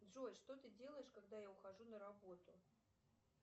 джой что ты делаешь когда я ухожу на работу